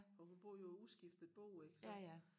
For hun boede jo i uskiftet bo ik så